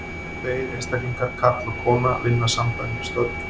Tveir einstaklingar, karl og kona, vinna sambærileg störf.